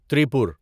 ترپور